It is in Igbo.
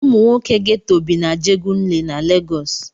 Ụmụ nwoke Geto bi na Ajegunle na Legọs.